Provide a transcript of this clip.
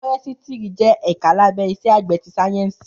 Fọrẹsítìrí jẹ ẹkà làbẹ Ìsẹ àgbẹ ti sàyẹnsí